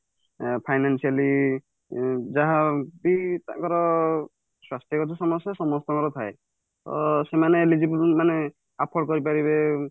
financially ଯାହାବି ତାଙ୍କର ସ୍ୱାସ୍ଥ୍ୟ ଗତ ସମସ୍ୟା ସମସ୍ତଙ୍କର ଥାଏ ଅ ସେମାନେ ନିଜକୁ କୁ ବି ମାନେ afford କରିପାରିବେ